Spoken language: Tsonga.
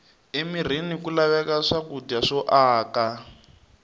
emirini ku laveka swakudya swo aka